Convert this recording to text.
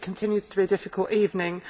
It continues to be a difficult evening.